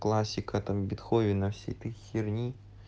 классика там бетховен а всей этой херни